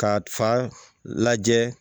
K'a fa lajɛ